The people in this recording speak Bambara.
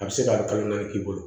A bɛ se ka kalo naani k'i bolo